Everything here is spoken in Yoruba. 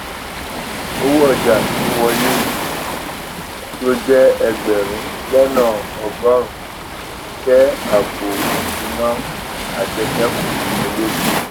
owó ọjà tó wọlé tó jé ẹgbèrún lónà ọgórùnún jé àpò ìsúná àjẹṣékù tó lékún